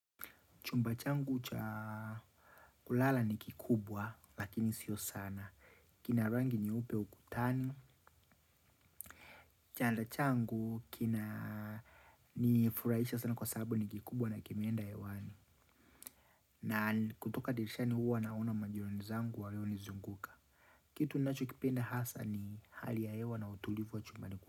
Chumba changu cha kulala ni kikubwa lakini sio sana. Kina rangi nyeupe ukutani. Chanda changu kina ni furaisha sana kwa sababu ni kikubwa na kimenda hewani. Na kutoka dirishani huwa naona majirani zangu walionizunguka. Kitu nacho kipenda hasa ni hali ya hewa na utulivu wa chumbani kwa.